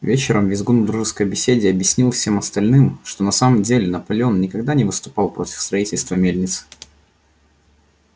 вечером визгун в дружеской беседе объяснил всем остальным что на самом деле наполеон никогда не выступал против строительства мельницы